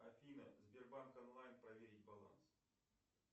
афина сбербанк онлайн проверить баланс